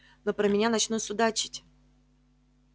но про меня начнут судачить